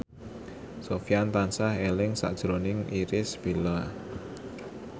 Sofyan tansah eling sakjroning Irish Bella